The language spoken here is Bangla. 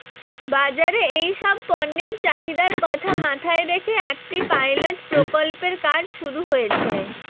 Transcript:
বাজারে এই সব পণ্যের চাহিদার কথা মাথায় রেখে একটি পাইলট প্রকল্পের কাজ শুরু হয়েছে